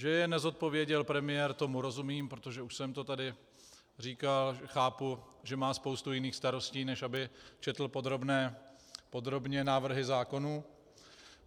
Že je nezodpověděl premiér, tomu rozumím, protože, už jsem to tady říkal, chápu, že má spoustu jiných starostí, než aby četl podrobně návrhy zákonů.